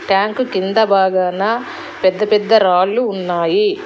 Tank కింద భాగాన పెద్ద పెద్ద రాళ్లు ఉన్నాయి.